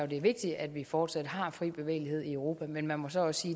det er vigtigt at vi fortsat har fri bevægelighed i europa men man må så også